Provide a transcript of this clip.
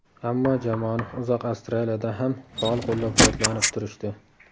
Ammo jamoani uzoq Avstraliyada ham faol qo‘llab-quvvatlanib turishdi.